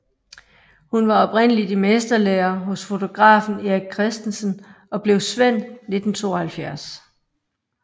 Hun var oprindeligt i mesterlære hos fotografen Erik Christensen og blev svend 1972